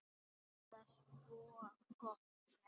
Eða svo gott sem.